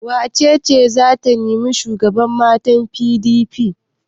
Wace ce za ta nemi shugaban matan PDP?